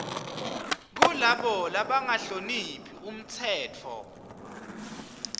kulabo labangahloniphi umtsetfo